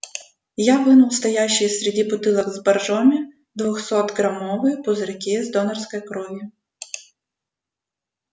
я вынул стоящие среди бутылок с боржоми двухсотграммовые пузырьки с донорской кровью